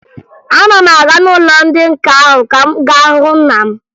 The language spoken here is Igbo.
Ana m aga n'ụlọ ndị nka ahụ ka m gaa hụ nna m